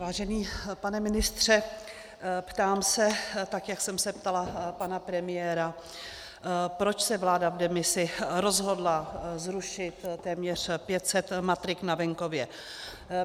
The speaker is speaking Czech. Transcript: Vážený pane ministře, ptám se tak, jak jsem se ptala pana premiéra, proč se vláda v demisi rozhodla zrušit téměř 500 matrik na venkově.